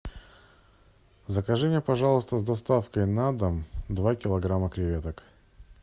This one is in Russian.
закажи мне пожалуйста с доставкой на дом два килограмма креветок